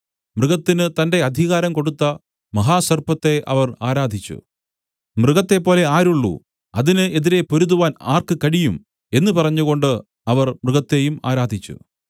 മൃഗത്തിന് തന്റെ അധികാരം കൊടുത്ത മഹാസർപ്പത്തെ അവർ ആരാധിച്ചു മൃഗത്തെപ്പോലെ ആരുള്ളു അതിന് എതിരെ പൊരുതുവാൻ ആർക്ക് കഴിയും എന്നു പറഞ്ഞുകൊണ്ട് അവർ മൃഗത്തെയും ആരാധിച്ചു